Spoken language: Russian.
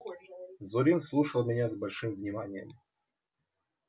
зурин слушал меня с большим вниманием